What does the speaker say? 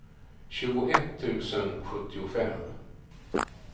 tjugoett tusen sjuttiofem